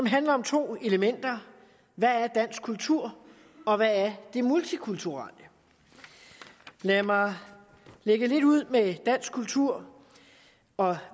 handler om to elementer hvad er dansk kultur og hvad er det multikulturelle lad mig lægge ud med dansk kultur og